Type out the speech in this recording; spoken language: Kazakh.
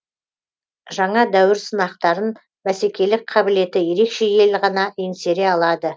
жаңа дәуір сынақтарын бәсекелік қабілеті ерекше ел ғана еңсере алады